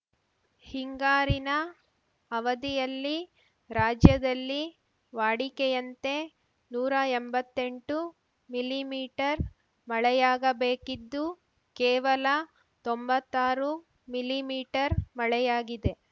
ಹಿಂಗಾರಿನ ಅವಧಿಯಲ್ಲಿ ರಾಜ್ಯದಲ್ಲಿ ವಾಡಿಕೆಯಂತೆ ನೂರಾ ಎಂಬತ್ತೆಂಟು ಮಿಲಿ ಮೀಟರ್ ಮಳೆಯಾಗಬೇಕಿದ್ದು ಕೇವಲ ತೊಂಬತ್ತಾರು ಮಿಲಿ ಮೀಟರ್ ಮಳೆಯಾಗಿದೆ